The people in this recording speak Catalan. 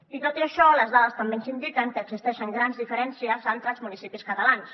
i tot i això les dades també ens indiquen que existeixen grans diferències entre els municipis catalans